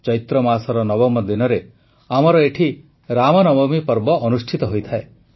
ଚୈତ୍ରମାସର ନବମ ଦିନରେ ଆମର ଏଠି ରାମନବମୀ ପର୍ବ ଅନୁଷ୍ଠିତ ହୋଇଥାଏ